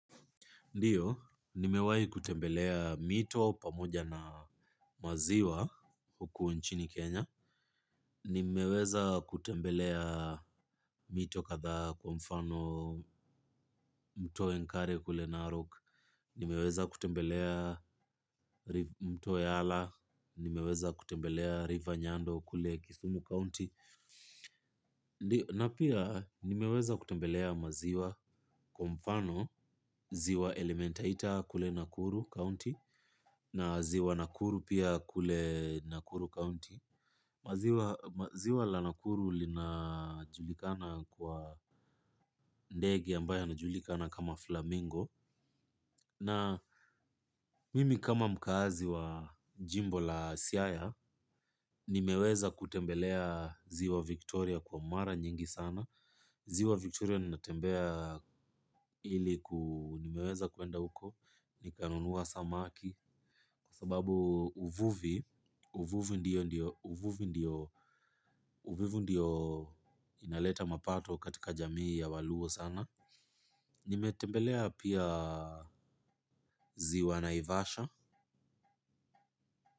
Ndiyo, nimewahi kutembelea mito pamoja na maziwa huku nchini Kenya. Nimeweza kutembelea mito kadhaa kwa mfano mto enkare kule Narok. Nimeweza kutembelea mto yala. Nimeweza kutembelea river nyando kule kisumu county. Ndiyo, na pia nimeweza kutembelea maziwa kwa mfano ziwa elementaita kule Nakuru county, na ziwa Nakuru pia kule Nakuru County. Ziwa la Nakuru linajulikana kwa ndege ambaye anajulikana kama Flamingo na mimi kama mkazi wa jimbo la siaya, nimeweza kutembelea ziwa Victoria kwa mara nyingi sana. Ziwa Victoria natembea ili nimeweza kuenda uko, nikanunua samaki. Kwa sababu uvuvi ndio inaleta mapato katika jamii ya waluo sana. Nimetembelea pia ziwa naivasha.